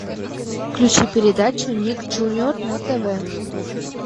включи передачу ник джуниор на тв